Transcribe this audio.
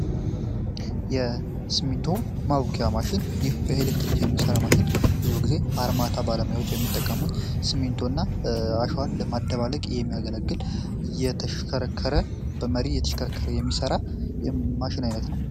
የስሚንቶ ማቡኪያ ማሽን ይህ በኤሌክትሪክ የሚሠራ ማሽን ብዙ ጊዜ አርማታ ባለማዮች የሚጠቀሙት ስሚንቶ እና አሸዋን ለማደባለቅ የሚያገለግል የተሽከረከረ በመሪ የተሽከረከረ የሚሠራ ማሽን ዓይነት ነው።